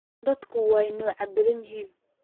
Dadku wa nocyo badaan yahy.